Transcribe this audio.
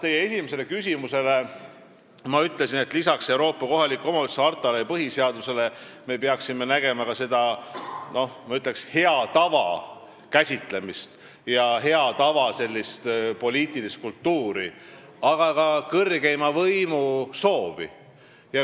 Teie esimesele küsimusele vastates ma ütlesin, et peale Euroopa kohaliku omavalitsuse harta ja meie põhiseaduse me peaksime arvestama head tava ja poliitilist kultuuri, aga ka kõrgeima võimu soovi.